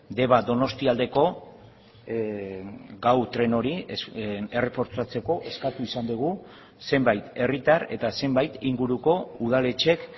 deba donostialdeko gau tren hori errefortzatzeko eskatu izan dugu zenbait herritar eta zenbait inguruko udaletxek